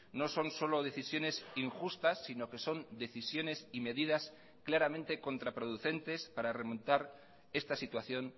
no son solo decisiones injustas sino que son decisiones y medidas claramente contraproducentes para remontar esta situación